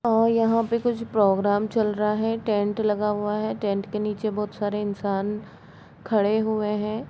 और यहाँ पे कुछ प्रोग्राम चल रहा है टेंट लगा हुआ है टेंट के नीचे बहुत सारे इन्सान खड़े हुए है।